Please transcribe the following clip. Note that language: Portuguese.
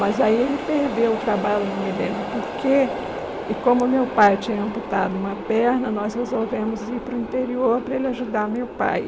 Mas aí ele perdeu o trabalho, não me lembro porquê, e como meu pai tinha amputado uma perna, nós resolvemos ir para o interior para ele ajudar meu pai.